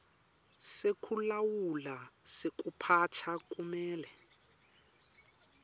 sekulawula sekuphatsa kumele